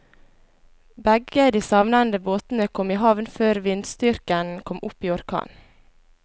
Begge de savnede båtene kom i havn før vindstyrken kom opp i orkan.